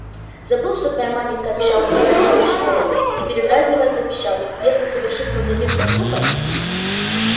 забыл что твоя маменька обещала забрать тебя из школы и передразнивая пропищал если совершит хоть один поступок